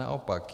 Naopak.